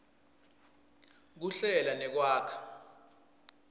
kuhlela nekwakha